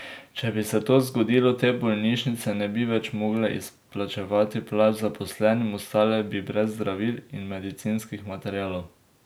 Če bi se to zgodilo, te bolnišnice ne bi več mogle izplačevati plač zaposlenim, ostale bi brez zdravil in medicinskih materialov.